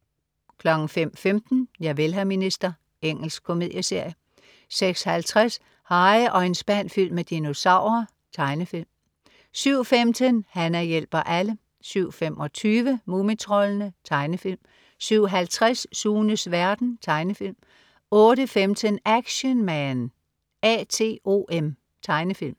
05.15 Javel, hr. minister. Engelsk komedieserie 06.50 Harry og en spand fyldt med dinosaurer. Tegnefilm 07.15 Hana hjælper alle 07.25 Mumitroldene. Tegnefilm 07.50 Sunes verden. Tegnefilm 08.15 Action Man A.T.O.M. Tegnefilm